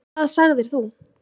Hvað sagðir þú?